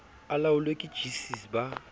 a laolwe ke gcis ba